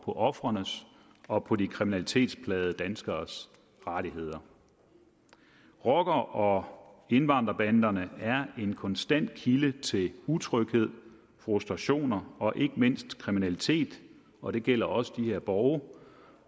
på ofrenes og på de kriminalitetsplagede danskeres rettigheder rockerne og indvandrerbanderne er en konstant kilde til utryghed frustrationer og ikke mindst kriminalitet og det gælder også de her borge